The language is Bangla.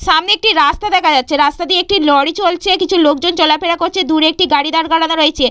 সামনে একটি রাস্তা দেখা যাচ্ছে রাস্তা দিয়ে একটি লরি চলছে কিছু লোকজন চলাফেরা করছে দূরে একটি গাড়ি দাঁড় করানো রয়েছে।